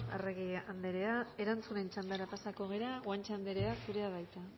arregi andrea erantzunen txandara pasako gara guanche andrea zurea da hitza